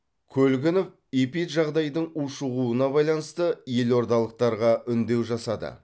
көлгінов эпиджағдайдың ушығуына байланысты елордалықтарға үндеу жасады